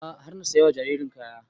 A'a har na saya wa jaririn kaya